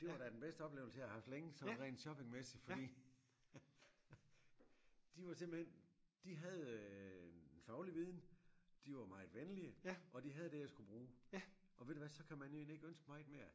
Det var da det var da den bedste oplevelse jeg har haft længe sådan rent shoppingmæssigt fordi de var simpelthen de havde øh en faglig viden de var meget venlige og de havde det jeg skulle bruge og ved du hvad så kan man end ikke ønske sig meget mere